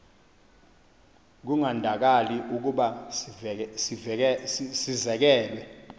kungandakali ukuba sizekelwe